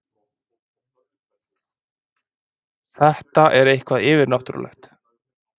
Þetta er eitthvað yfirnáttúrlegt.